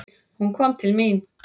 Hún kom til mín.